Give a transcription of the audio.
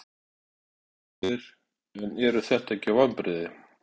Helga Arnardóttir: En eru þetta ekki vonbrigði?